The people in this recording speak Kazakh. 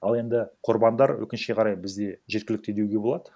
ал енді құрбандар өкінішке қарай бізде жеткілікті деуге болады